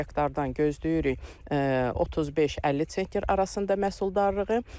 Bir hektardan gözləyirik 35-50 sentr arasında məhsuldarlığı.